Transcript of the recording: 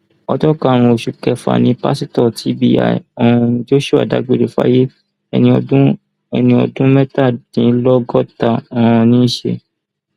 ọjọ karùnún oṣù kẹfà ni pásítọ tbi um joshua dágbére fáyé ẹni ọdún ẹni ọdún mẹtàdínlọgọta um ní í ṣe